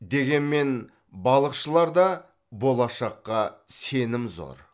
дегенмен балықшыларда болашаққа сенім зор